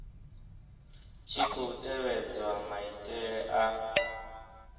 tshi khou tevhedzwa maitele a